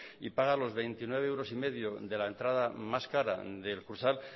y paga los veintinueve euros y medio de la entrada más cara del kursal